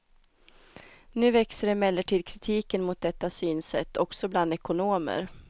Nu växer emellertid kritiken mot detta synsätt, också bland ekonomer.